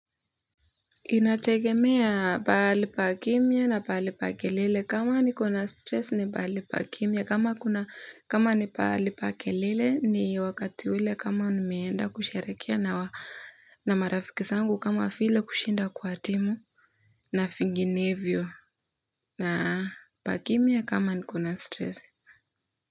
Inategemea pahali pa kimya na pahali pa kelele kama niko na stress ni pahali pa kimya kama kuna. Pahali pa kelele ni wakati ule kama nimeenda kusherehekea na marafiki zangu kama vile kushinda kwa timu na vinginevyo na pakimya kama niko na stress.